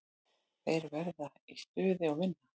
Þeir verða í stuði og vinna.